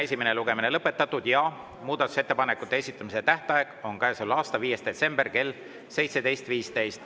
Esimene lugemine on lõpetatud ja muudatusettepanekute esitamise tähtaeg on käesoleva aasta 5. detsember kell 17.15.